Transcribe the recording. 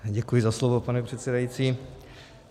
Děkuji za slovo, pane předsedající.